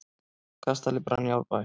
Kastali brann í Árbæ